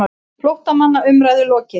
FLÓTTAMANNA UMRÆÐU LOKIÐ